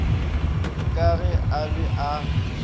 ka ge a be a